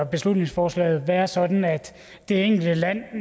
beslutningsforslaget være sådan at det enkelte land